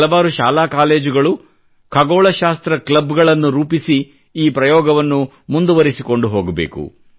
ಹಲವಾರು ಶಾಲಾ ಕಾಲೇಜುಗಳು ಖಗೋಳಶಾಸ್ತ್ರ ಕ್ಲಬ್ಗಳನ್ನು ರೂಪಿಸಿ ಈ ಪ್ರಯೋಗವನ್ನು ಮುಂದುವರಿಸಿಕೊಂಡು ಹೋಗಬೇಕು